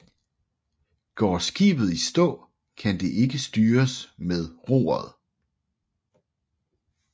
Går skibet i stå kan det ikke styres med roret